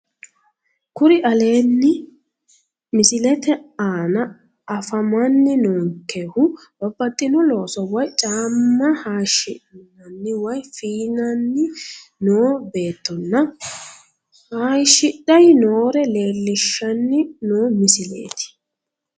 Kuni aleenni misilete aana afamanni noonkehu babbaxxino looso woyi caamma hayishshanni woyi feyaanni noo beettonna hayishidhayi noore leellishshanni noo misileeti